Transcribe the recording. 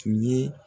Tun ye